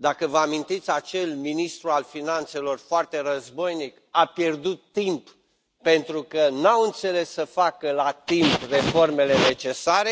dacă vă amintiți acel ministru al finanțelor foarte războinic a pierdut timp, pentru că nu au înțeles să facă la timp reformele necesare.